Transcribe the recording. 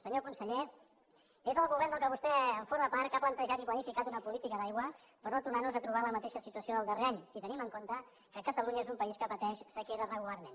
senyor conseller és el govern de què vostè forma part que ha plantejat i planificat una política d’aigua per no tornar nos a trobar en la mateixa situació del darrer any si tenim en compte que catalunya és un país que pateix sequera regularment